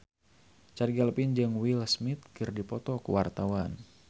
Chand Kelvin jeung Will Smith keur dipoto ku wartawan